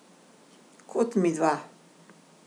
Kot midva.